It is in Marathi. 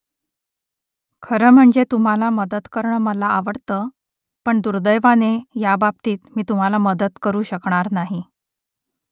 खरं म्हणजे तुम्हाला मदत करणं मला आवडतं . पण दुर्दैवाने ह्याबाबतीत मी तुम्हाला मदत करू शकणार नाही